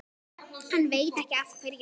Hann veit ekki af hverju.